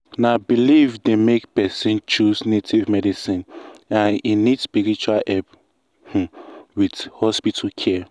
na belief dey make person choose native medicine and e need spiritual help um with hospital care.